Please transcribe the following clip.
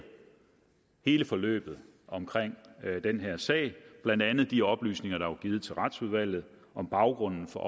hele forløbet omkring den her sag blandt andet de oplysninger der var givet til retsudvalget om baggrunden for